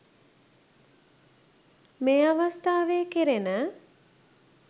මේ අවස්ථාවේ කෙරෙන